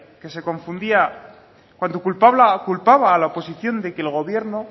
que se confundía cuando culpaba a la oposición de que el gobierno